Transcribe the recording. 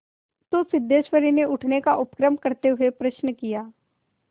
तो सिद्धेश्वरी ने उठने का उपक्रम करते हुए प्रश्न किया